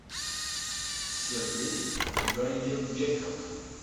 сергей гаербеков